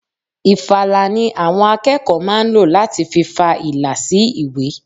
Ìfala ni àwọn akẹ́kọ̀ọ́ máa ń ló láti fi fa ìlà sì ìwé.